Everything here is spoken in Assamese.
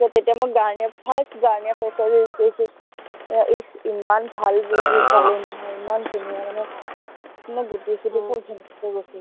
তেতিয়া মই গাৰ্ণিয়াৰ first গাৰ্ণিয়াৰ face wash use কৰিছো, আহ ইচ ইমান ভাল পালো নহয়, ইমান ধুনীয়া, মানে, মোৰ গুটি চুটি সৱ finish হৈ গৈছিলে